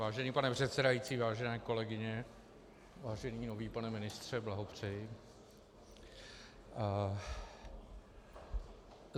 Vážený pane předsedající, vážené kolegyně - vážený nový pane ministře, blahopřeji.